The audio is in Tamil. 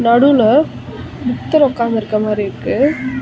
நடுவுல புத்தர் உக்காந்துருக்க மாறி இருக்கு.